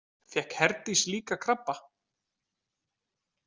Fékk Herdís líka krabba?